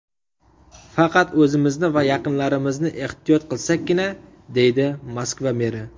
Faqat o‘zimizni va yaqinlarimizni ehtiyot qilsakkina”, deydi Moskva meri.